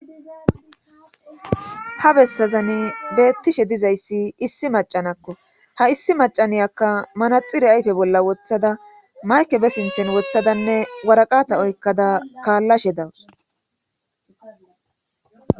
ha bessazani beettishe dizayssi issi macanakko ha issi macaniyakka manaxire ayfe bolla wothada mayke be sinthen wothadanne waraqata oykkada kaallashe dawus